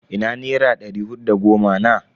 Ina nera ɗari hudu da goma na?